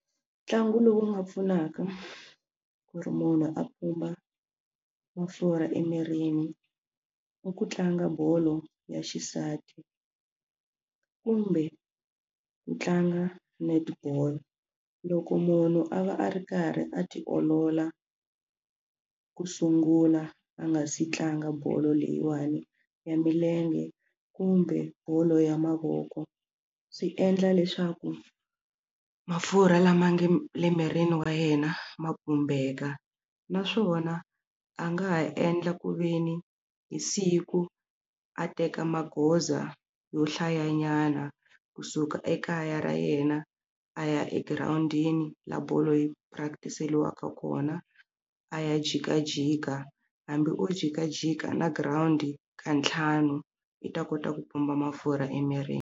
Ntlangu lowu nga pfunaka ku ri munhu a pfumba mafurha emirini i ku tlanga bolo ya xisati kumbe ku tlanga netball loko munhu a va a ri karhi a ti olola ku sungula a nga si tlanga bolo leyiwani ya milenge kumbe bolo ya mavoko swi endla leswaku mafurha lama nge le mirini wa yena ma pfumbeka naswona a nga ha endla kuveni hi siku a teka magoza yo hlayanyana kusuka ekaya ra yena a ya egirawundini la bolo yi practic-eliwaka kona a ya jikajika hambi o jikajika na girawundi ka ntlhanu yi ta kota ku pumba mafurha emirini.